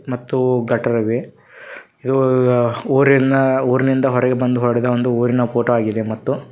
ಮತ್ತು ಗಟ್ಟರ್ ಅವೆ ಇದು ಊರಿನ ಊರಿನಿಂದ ಹೊರಗೆ ಬಂದು ಹೊಡೆದ ಒಂದು ಊರಿನ ಫೋಟೋ ಆಗಿದೆ ಮತ್ತು--